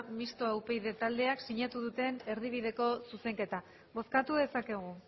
mistoa upyd taldeak sinatu dute erdibideko zuzenketa bozkatu dezakegu